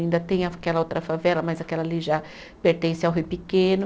Ainda tem aquela outra favela, mas aquela ali já pertence ao Rio Pequeno.